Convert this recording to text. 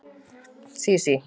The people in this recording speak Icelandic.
Sísí